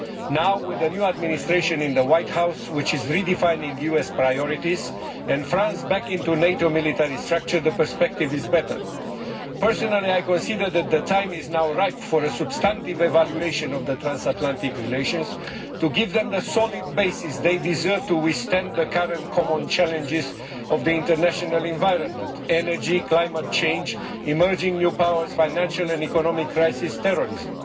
Now, with a new Administration in the White House which is redefining US priorities, and France back into the NATO military structure, the perspective is better. Personally, I consider that the time is now ripe for a substantive evaluation of transatlantic relations to give them the solid basis they deserve to withstand the current common challenges posed by the international environment energy, climate change, emerging new powers, the financial and economic crisis, and terrorism.